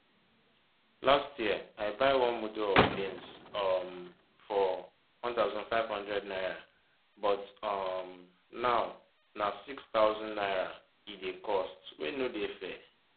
last year i buy one mudu of beans um for 1500 naira but um now na 6000 naira e dey cost wey no dey fair